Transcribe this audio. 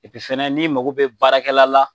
fana n'i mago bɛ baarakɛla la